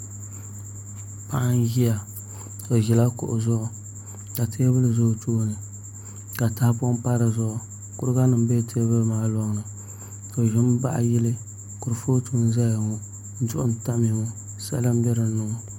Paɣa n ʒiya o ʒila kuɣu zuɣu ka teebuli ʒɛ o tooni ka tahapoŋ pa dizuɣu kuriga nim bɛ teebuli maa loŋni o ʒimi baɣa yili kurifooti n ʒɛya ŋo duɣu n tamya ŋo sala n bɛ dinni ŋo